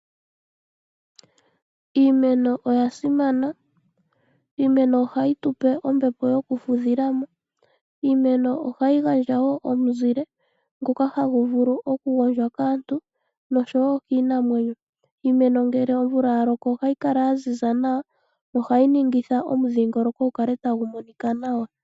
Iimeno oya simana oshoka ohayi type ombepo yoku fudhilamo noshowo omizile ngoka hagu vulu oku gwondja kaantu noshowo kiinamwenyo. Iimeno ohayi kala yaziza nawa ngele ovula ya loko nawa nohayi ningitha omudhingoloko gukale tagu monika nawa.